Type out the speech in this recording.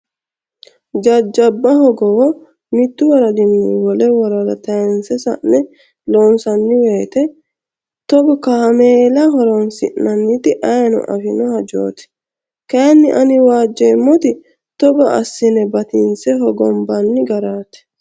Jajjabba hogowo mitu woradini wole woradda tayinse sa'ne loonsanni woyte togo kaameella horonsi'nannitta ayiino afino hajoti kayinni ani waajjeemmoti hogo assine batinse hogombanni garati.